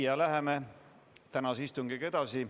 Läheme tänase istungiga edasi.